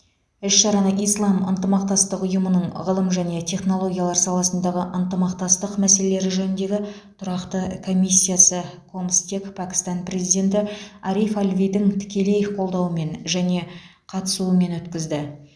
іс шараны ислам ынтымақтастық ұйымының ғылым және технологиялар саласындағы ынтымақтастық мәселелері жөніндегі тұрақты комиссиясы комстек пәкістан президенті ариф алвидің тікелей қолдауымен және қатысуымен өткізді